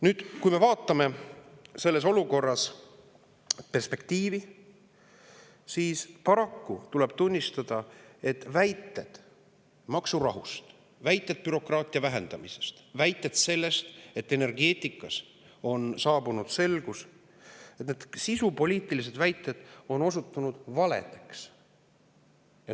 Nüüd, kui me vaatame selles olukorras perspektiivi, siis paraku tuleb tunnistada, et väited maksurahust, väited bürokraatia vähendamisest, väited sellest, et energeetikas on saabunud selgus – need sisupoliitilised väited on osutunud valedeks.